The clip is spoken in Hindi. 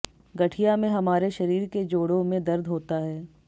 गठिया में हमारे शरीर के जोडों में दर्द होता है